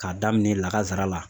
K'a daminɛ lakazara la